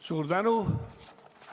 Suur tänu!